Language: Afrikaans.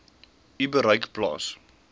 u bereik plaas